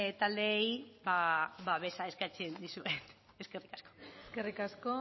taldeei babesa eskatzen diet eskerrik asko eskerrik asko